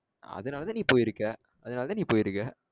அதுனாலத்தான் நீ போயிருக்க அதுனாலதான் நீ போயிருக்க